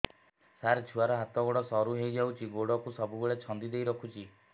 ସାର ଛୁଆର ହାତ ଗୋଡ ସରୁ ହେଇ ଯାଉଛି ଗୋଡ କୁ ସବୁବେଳେ ଛନ୍ଦିଦେଇ ରଖୁଛି